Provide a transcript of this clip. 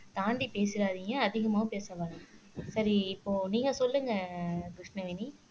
தாண்டி பேசிறாதீங்க அதிகமாவும் பேச வேணாம் சரி இப்போ நீங்க சொல்லுங்க கிருஷ்ணவேணி